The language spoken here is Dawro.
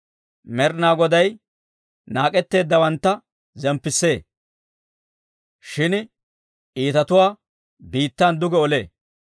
Med'inaa Goday naak'etteeddawantta zemppissee; shin iitatuwaa biittan duge olee.